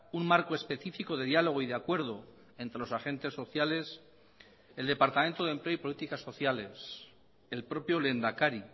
un marco específico de diálogo y de acuerdo entre los agentes sociales el departamento de empleo y políticas sociales el propio lehendakari